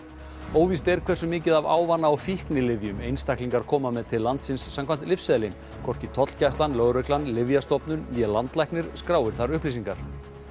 óvíst er hversu mikið af ávana og fíknilyfjum einstaklingar koma með til landsins samkvæmt lyfseðli hvorki tollgæslan lögreglan Lyfjastofnun né landlæknir skráir þær upplýsingar